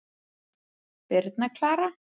Birna Klara.